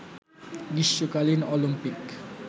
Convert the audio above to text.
গ্রীষ্মকালীন অলিম্পিক